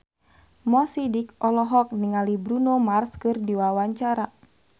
Mo Sidik olohok ningali Bruno Mars keur diwawancara